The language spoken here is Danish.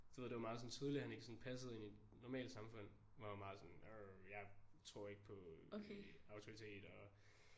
Du ved det var meget sådan tydelig han ikke sådan passede ind i et normalt samfund var meget sådan arrr jeg tror ikke på øh autoriteter